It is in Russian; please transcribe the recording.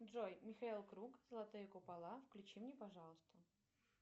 джой михаил круг золотые купола включи мне пожалуйста